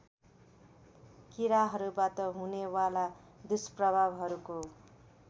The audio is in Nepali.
किराहरूबाट हुनेवाला दुष्प्रभावहरूको